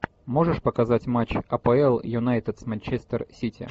можешь показать матч апл юнайтед с манчестер сити